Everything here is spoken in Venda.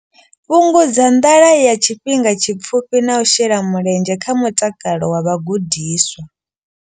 Fhungudza nḓala ya tshifhinga tshipfufhi na u shela mulenzhe kha mutakalo wa vhagudiswa.